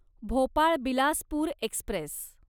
Bhopal Bilaspur Express